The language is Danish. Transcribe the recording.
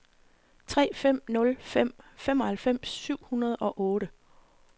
tre fem nul fem femoghalvfems syv hundrede og otte